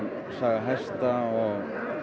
hesta og